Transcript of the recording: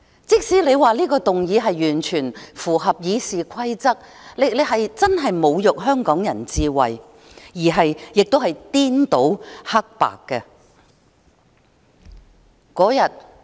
即使你說這項議案完全符合《議事規則》，但你確實侮辱香港人智慧，同時也是顛倒了是非黑白。